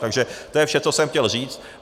Takže to je vše, co jsem chtěl říct.